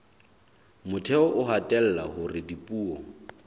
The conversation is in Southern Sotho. motheo o hatella hore dipuo